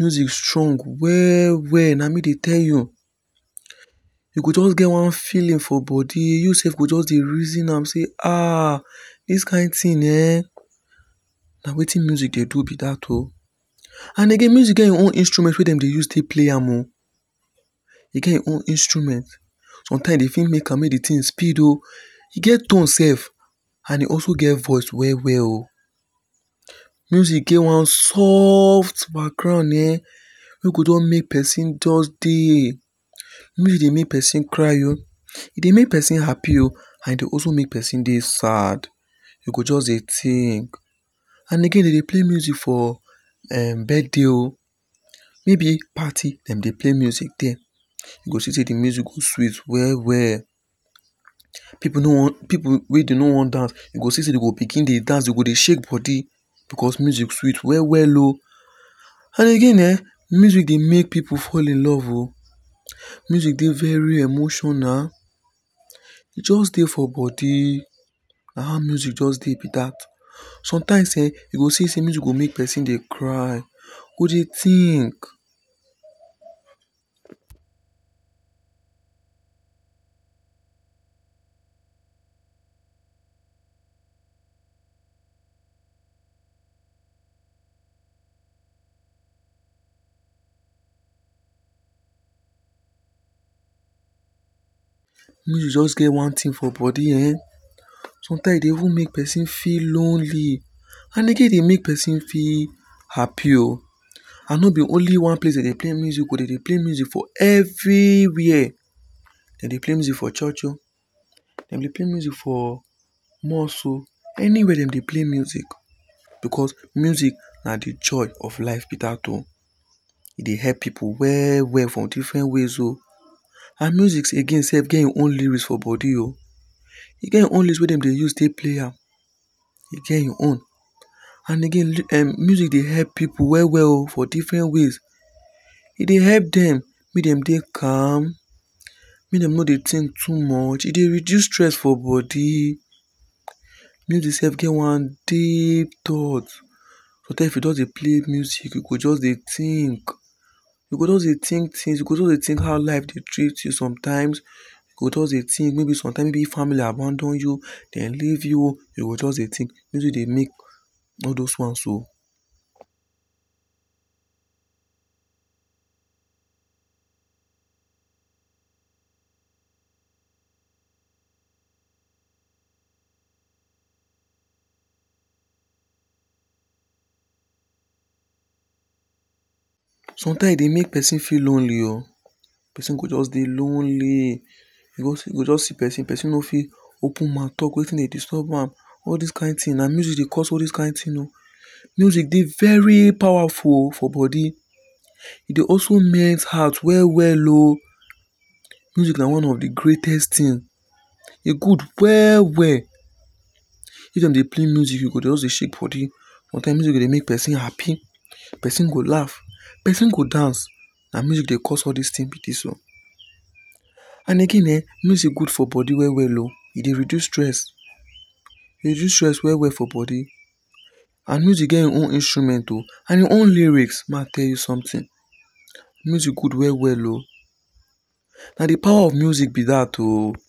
Music strong well well. Na me dey tell you. E go just get one feeling for body, yourself go just dey reason am sey um dis kind thing um na wetin music dey do be that o. And again much get im own instruments wey dem dey use take play am o E get im own instruments. Sometimes e fit make am make di thing take speed o e get tone self and e also get voice well well o. Music get one soft background um wey go just make person just dey music dey make person cry o, e dey make person happy o and e dey also make person dey sad. E go just dey think And again dem dey play music for um birthday o maybe party dem dey play music there. You go see say di music go sweet well well. Pipu no wan Pipu wey dey no wan dance go dey shake body because music sweet well well o And again um, music dey make people fall in love o music dey very emotional. E just dey for body na how music just dey be that. Sometimes um you go see say music go just dey make person dey cry go dey think. Music just get one thing for body um sometime e dey even make person feel lonely and again e dey make person feel happy o. And no be only one place dey dey play music o Dem dey play music for everywhere. Dem dey play music for church o dem dey play music for mosque o anywhere dem dey play music because music na di joy of life be that oh. E dey help people well well for different ways o. And music again self get im own lyrics for body o e get im own lyrics wey dem dey use take play am. E get im own. And again, um music dey help people well well oh for different ways. E dey help dem make dem dey calm, make dem no dey think too much, e dey reduce stress for body. Music self get one deep thought; sometimes if you just dey play music u go just dey think. You go just dey think things, you go just dey think how life dey treat you sometimes. You go just dey think maybe sometimes maybe if family abandon you, dem leave you you go just dey think. Music dey make all those ones o. Sometimes e dey make person feel lonely oh. Person go just dey lonely. You go just see person, person no fit open mouth talk wetin dey disturb am. All this kind thing, na music dey cause this kind thing oh. Music dey very powerful for body. E dey also melt heart well well oh. Music na one of the greatest things. E good well well. If dem dey play music, you go just dey shake body. Sometimes music dey make person happy, person go laugh person go dance. Na music dey cause all this things be this o and again um Music good for body well well o e dey reduce stress e dey reduce stress well well for body. And music get im own instrument and im own lyrics. Make I tell you something music good well well o. Na di power of music be that o